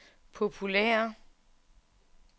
populære